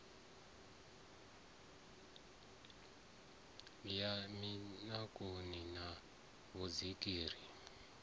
ya mikaṋoni na vhudziki ri